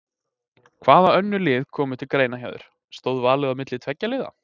Hvaða önnur lið komu til greina hjá þér, stóð valið á milli tveggja liða?